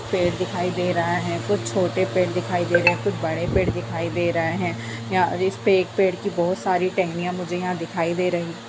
पेड़ दिखाई दे रहा है कुछ छोटे पेड़ दिखाई दे रहे कुछ बड़े पेड़ दिखाई दे रहे। इसपे एक पेड़ की बहोत सारी टहनियां मुझे यहां दिखाई दे रही --